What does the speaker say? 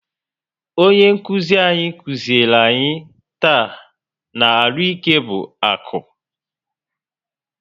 Onye nkụzi anyị kụziri anyị taa na " Arụike bụ akụ"